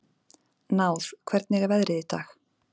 Náð, hvernig er veðrið í dag?